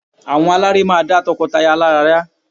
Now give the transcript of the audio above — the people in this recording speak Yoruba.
Àwọn aláré máa dá tọkọtaya lára yá